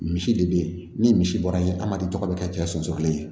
Misi de be yen ni misi bɔra yen adamaden tɔgɔ be kɛ cɛ sɔnso kelen ye